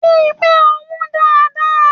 Rí pé o hùn dáadáa!